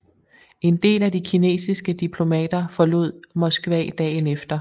En del af de kinesiske diplomater forlod Moskva dagen efter